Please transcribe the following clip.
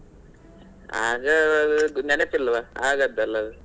ಆಗ ನೆನಪಿಲ್ವಾ ಆಗದ್ದಲ್ಲ ಅದು.